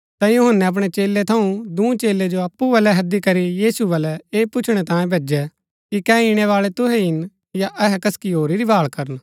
ता यूहन्‍नै अपणै चेलै थऊँ दूँ चेलै जो अप्पु बलै हैदी करी यीशु बलै ऐह पुछणै तांई भैजै कि कै ईणैबाळा तूहै हि हिन या अहै कसकि होरी री भाळ करन